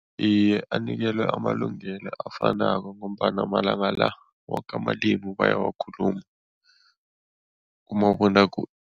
Iye, anikelwe amalungelo afanako ngombana malanga la woke amalimu bayawakhuluma